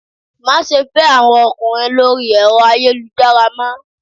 Má se fé àwọn ọkùnrin lórí ẹ̀rọ ayélujára mọ́